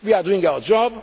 We are doing our